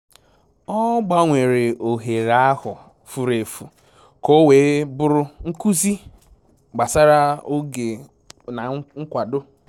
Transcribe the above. Ọ gbanwere ohere ahụ furu efu ka o wee bụrụ nkuzi gbasara oge na nkwado